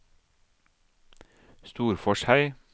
Storforshei